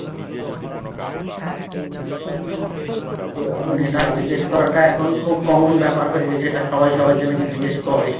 এটা জিজ্ঞেস করাটা এখন খুব common বেপার হয়ে গেছে সবাই সবাইকে নাকি জিজ্ঞেস করে